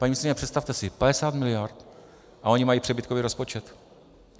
Paní ministryně, představte si, 50 miliard, a oni mají přebytkový rozpočet.